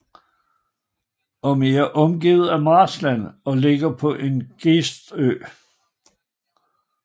Den er omgivet af marskland og ligger på en gestø